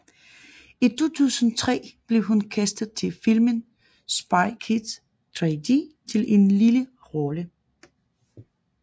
I 2003 blev hun castet til filmen Spy Kids 3D til en lille rolle